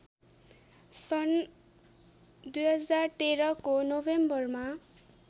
सन् २०१३ को नोभेम्बरमा